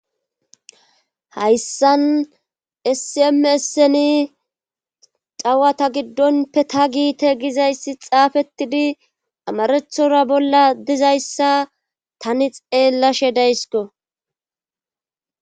hayssan sim esseni dawata giddonppe ta giite gizayssi xaafettidi amarethora bolla dizayssa tani xeellashe daysiko